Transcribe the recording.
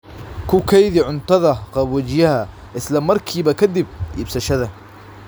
Ku kaydi cuntada qaboojiyaha isla markiiba ka dib iibsashada.